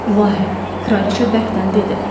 İlahi, kraliçə bərkdən dedi.